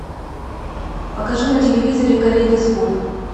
покажи на телевизоре калейдоскоп